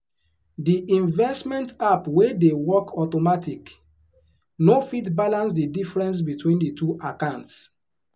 the investment app wey dey work automatic no fit balance the difference between the two accounts.